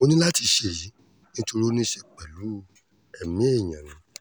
mo ní láti ṣe èyí nítorí ó ní í ṣe pẹ̀lú ẹ̀mí èèyàn ni